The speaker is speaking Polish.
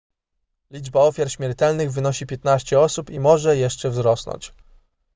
liczba ofiar śmiertelnych wynosi 15 osób i może jeszcze wzrosnąć